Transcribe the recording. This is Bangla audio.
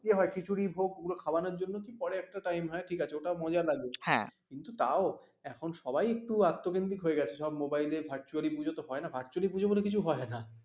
ইয়ে হয় খিচুড়ি ভোগ ওগুলো খাওয়ানোর জন্য কে করে একটা time হয় ঠিকাছে? ওটা মজার লাগে কিন্তু তাও এখন সবাই একটু আত্ম কেন্দ্রিক হয়ে গেছে সব মোবাইল ভরতুল্য পূজো তো হয়না ভরতুল্য পূজো বলে কিছু হয়না